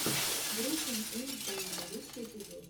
бруклин энд бэйли лучший эпизод